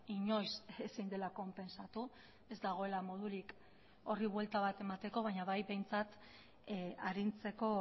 inoiz ezin dela konpentsatu ez dagoela modurik horri buelta bat emateko baina bai behintzat arintzeko